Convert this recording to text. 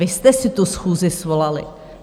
Vy jste si tu schůzi svolali.